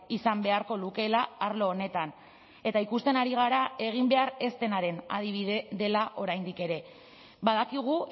izan beharko lukeela arlo honetan eta ikusten ari gara egin behar ez denaren adibide dela oraindik ere badakigu